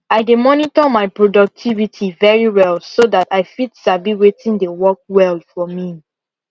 i dey monitor my productivity very well so dat i fit sabi wetin dey work well for me